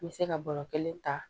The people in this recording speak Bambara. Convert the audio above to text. N bɛ se ka bɔrɔ kelen ta